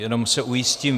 Jenom se ujistím.